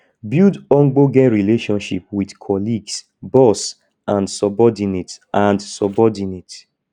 build ogbonge relationship with colleagues boss and subordinate and subordinate